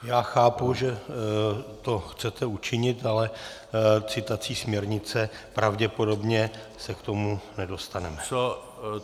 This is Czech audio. Já chápu, že to chcete učinit, ale citací směrnice pravděpodobně se k tomu nedostaneme.